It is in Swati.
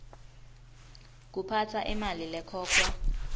kuphatsa imali lekhokhwa